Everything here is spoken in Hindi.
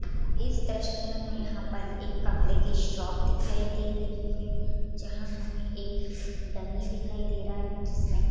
इस दृश्य में हमें यहा पर एक कपड़े की शॉप दिखाई दे रही है जहाँ हमें एक डमी दिखाई दे रहा है जिसमें--